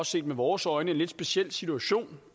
set med vores øjne en lidt speciel situation